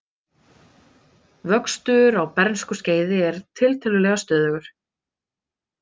Vöxtur á bernskuskeiði er tiltölulega stöðugur.